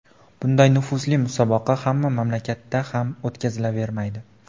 Bunday nufuzli musobaqa hamma mamlakatda ham o‘tkazilavermaydi.